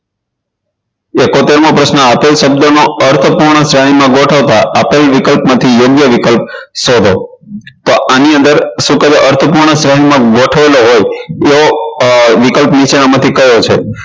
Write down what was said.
ઈકોતેર મો પ્રશ્ન આતુર શબ્દનો અર્થપૂર્ણ શ્રેણીમાં ગોઠવતા આપેલ વિકલ્પમાંથી યોગ્ય વિકલ્પ શોધો તો આની અંદર શું કહેવાય અર્થપૂર્ણ શ્રેણીમાં ગોઠવેલો હોય એવો વિકલ્પ નીચેનામાંથી કયો છે